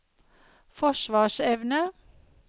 forsvarsevne